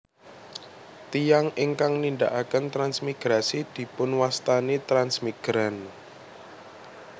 Tiyang ingkang nindakaken transmigrasi dipunwastani transmigran